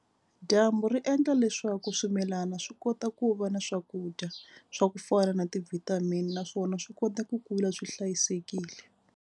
Dyambu ri endla leswaku swimilana swi kota ku va na swakudya swa ku fana na ti-vitamin naswona swi kota ku kula swi hlayisekile.